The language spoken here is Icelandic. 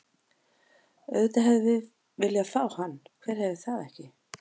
Auðvitað hefðum við viljað fá hann, hver hefði það ekki?